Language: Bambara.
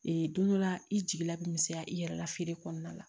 Ee don dɔ la i jigila bɛ misɛnya i yɛrɛ la feere kɔnɔna la